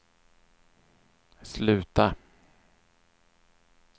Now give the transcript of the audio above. sluta